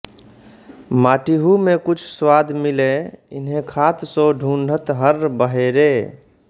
माटिहु में कछु स्वाद मिलै इन्हैं खात सो ढूढ़त हर्र बहेरे